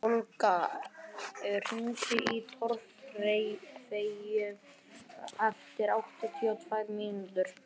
Olga, hringdu í Torfeyju eftir áttatíu og tvær mínútur.